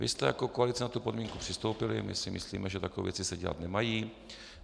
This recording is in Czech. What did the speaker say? Vy jste jako koalice na tu podmínku přistoupili, my si myslíme, že takové věci se dělat nemají.